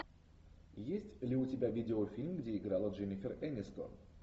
есть ли у тебя видеофильм где играла дженнифер энистон